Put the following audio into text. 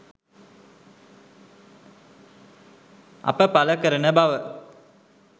අප පල කරන බව